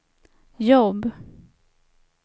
jobb